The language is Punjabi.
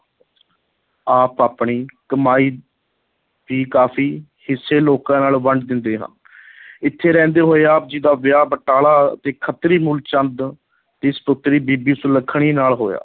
ਆਪ ਆਪਣੀ ਕਮਾਈ ਦੀ ਕਾਫ਼ੀ ਹਿੱਸੇ ਲੋਕਾਂ ਨਾਲ ਵੰਡ ਦਿੰਦੇ ਹਾਂ ਇੱਥੇ ਰਹਿੰਦੇ ਹੋਏ ਆਪ ਜੀ ਦਾ ਵਿਆਹ ਬਟਾਲਾ ਦੀ ਖੱਤਰੀ ਮੂਲ ਚੰਦ ਦੀ ਸਪੁੱਤਰੀ ਬੀਬੀ ਸੁਲੱਖਣੀ ਨਾਲ ਹੋਇਆ।